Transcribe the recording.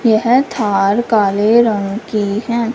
यह थार काले रंग की है।